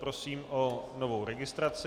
Prosím o novou registraci.